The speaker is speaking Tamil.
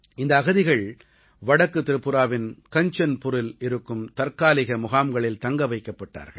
இந்த அகதிகள் வடக்கு திரிபுராவின் கஞ்சன்புரில் இருக்கும் தற்காலிக முகாம்களில் தங்க வைக்கப்பட்டார்கள்